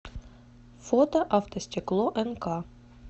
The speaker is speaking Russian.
фото автостекло нк